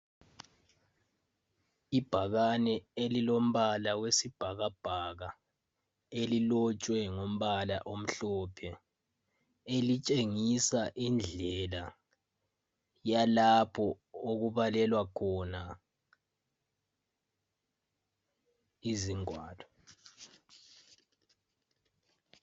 Ibhakane elilombala wesibhakabhaka elilotshwe ngombala omhlophe elitshengisa indlela yalapho okubalelwa khona izingwalo.